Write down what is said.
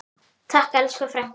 Takk elsku frænka.